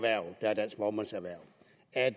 at